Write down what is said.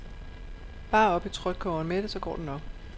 Bare op i trykkogeren med det, så går det nok.